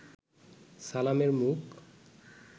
সালামের মুখ